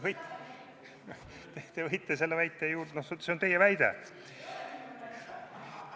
No see on teie väide.